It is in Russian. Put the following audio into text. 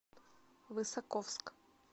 высоковск